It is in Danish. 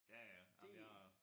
Ja ja ej men jeg